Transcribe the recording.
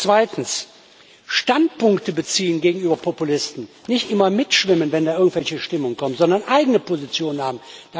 Zweitens Standpunkte beziehen gegenüber Populisten, nicht immer mitschwimmen, wenn irgendwelche Stimmungen kommen, sondern eigene Positionen haben.